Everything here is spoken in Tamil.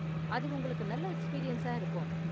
அது உங்களுக்கு நல்ல எக்ஸ்பீரியன்ஸா இருக்கும்.